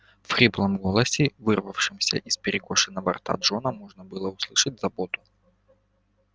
в хриплом голосе вырывавшемся из перекошенного рта джона можно было услышать заботу